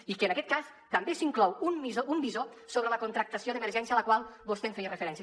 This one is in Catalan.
i que en aquest cas també s’hi inclou un visor sobre la contractació d’emergència a la qual vostè feia referència